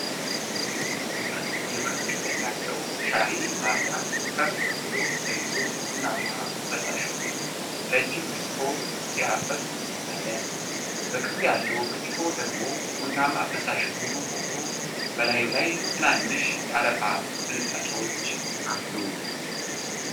አንድ የብር ቀለም ያለው ሻይ ማፍያ ከፍ ብሎ ተይዞ ቡናማ ፈሳሽ ወደ ረጅም ብርጭቆ ሲያፈስ ይታያል። በቅርብ ያለው ብርጭቆ ደግሞ ቡናማ ፈሳሽ ሙሉ ሆኖ፣ በላዩ ላይ ትናንሽ የአረፋ ፍንጣቂዎች አሉ።